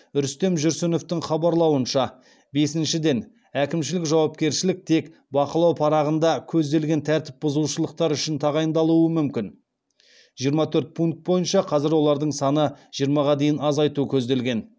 рүстем жүрсіновтың хабарлауынша бесіншіден әкімшілік жауапкершілік тек бақылау парағында көзделген тәртіп бұзушылықтар үшін тағайындалуы мүмкін